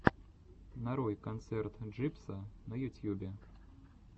нарой концерт джибса на ютьюбе